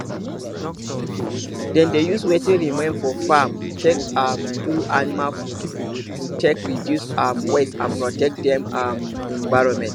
them dey use wetin remain for farm take um do animal food to take reduce um waste and protect the um environment